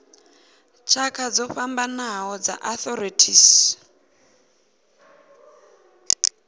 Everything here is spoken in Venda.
tshakha dzo fhambanaho dza arthritis